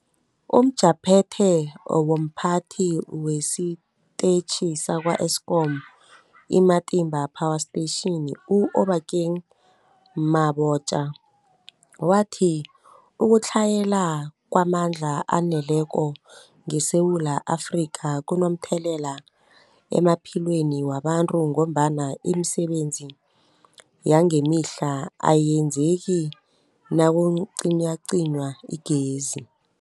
UmJaphethe womPhathi wesiTetjhi sakwa-Eskom i-Matimba Power Station u-Obakeng Mabotja wathi ukutlhayela kwamandla aneleko ngeSewula Afrika kunomthelela emaphilweni wabantu ngombana imisebenzi yangemihla ayenzeki nakucinywacinywa igezi.